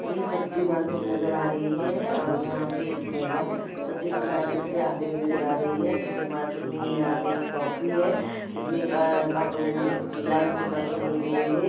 ये सब्जी मार्केट नजर आ रही हैं और यहां पे एक महिला सब्जी मार्केट से आते नजर आ रही हैं सब्जी मार्केट में यहां पे एक शॉप भी है जिसमे एक कार्टून मे एक लाईन से कार्टून लगे हुए है ।